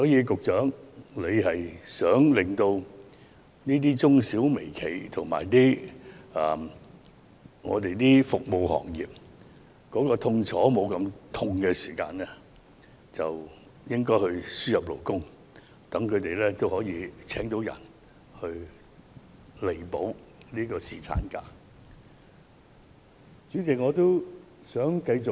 局長，如果你希望減輕中小企、微企和服務業的痛楚，便應該輸入勞工，讓僱主聘請人手替補放取侍產假的員工。